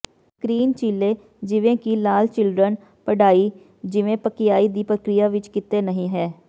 green ਚੀਲੇ ਜਿਵੇਂ ਕਿ ਲਾਲ ਚਿਲਡਰਨ ਪਢਾਈ ਜਿਵੇਂ ਪਕਿਆਈ ਦੀ ਪ੍ਰਕਿਰਿਆ ਵਿਚ ਕਿਤੇ ਨਹੀਂ ਹੈ